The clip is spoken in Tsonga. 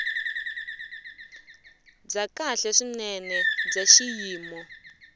bya kahle swinene bya xiyimo